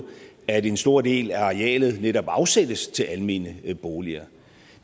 at en stor del af arealet netop afsættes til almene boliger